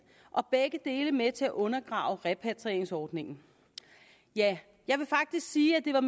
og begge dele er med til at undergrave repatrieringsordningen ja jeg vil faktisk sige at det var